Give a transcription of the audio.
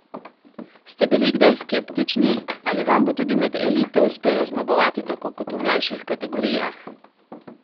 Ste bili kdaj skeptični, ali vam bo tudi med elito uspelo zmagovati tako kot v mlajših kategorijah?